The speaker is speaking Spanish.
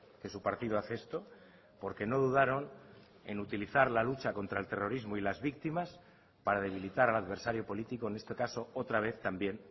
que su partido hace esto porque no dudaron en utilizar la lucha contra el terrorismo y las víctimas para debilitar al adversario político en este caso otra vez también